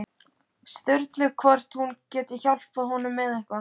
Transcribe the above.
Sturlu hvort hún geti hjálpað honum með eitthvað.